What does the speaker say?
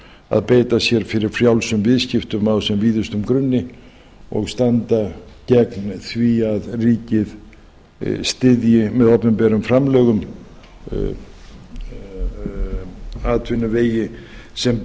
að beita sér fyrir frjálsum viðskiptum á sem víðustum grunni og standa gegn því að ríki styðji með opinberum framlögum atvinnuvegi sem